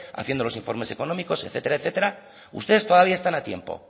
haciendo los informes económicos etcétera etcétera ustedes todavía están a tiempo